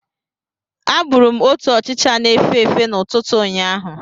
Agburu m otu ọchịcha na-efe efe n'ụtụtụ ụnyaahụ.